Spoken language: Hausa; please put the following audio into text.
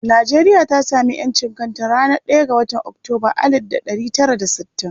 Nijeriya ta sami ƴancin kanka a ranar ɗaya ga watan Oktoba alid da ɗari tara da sittin.